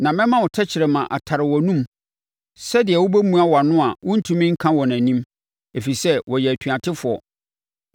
Na mɛma wo tɛkrɛma atare wʼanomu sɛdeɛ wobɛmua wʼano a worentumi nka wɔn anim, ɛfiri sɛ wɔyɛ atuatefoɔ